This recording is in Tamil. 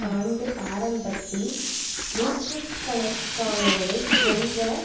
ஆண்டு ஆரம்பத்தில் நூற்றுக்கண்க்கானோரைக் கொன்ற